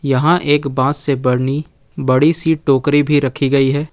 यहां एक बांस से बनी बड़ी सी टोकरी भी रखी गई है।